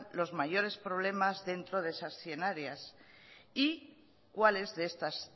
los mayores problemas dentro de esas cien áreas y cuáles de estas